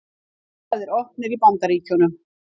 Kjörstaðir opnir í Bandaríkjunum